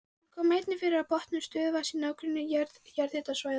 Þau koma einnig fyrir á botni stöðuvatna í nágrenni jarðhitasvæða.